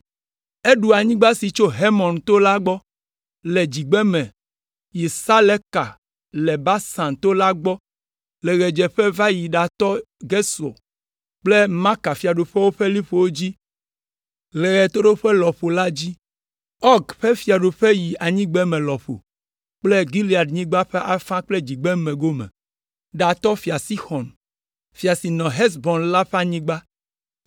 Eɖu anyigba si tso Hermon to la gbɔ le dzigbeme yi Saleka le Basan to la gbɔ le ɣedzeƒe va yi ɖatɔ Gesur kple Maka fiaɖuƒewo ƒe liƒowo dzi le ɣetoɖoƒe lɔƒo la dzi. Ɔg ƒe fiaɖuƒe yi anyigbeme lɔƒo kple Gileadnyigba ƒe afã le dzigbeme gome, ɖatɔ Fia Sixɔn, fia si nɔ Hesbon la ƒe anyigba.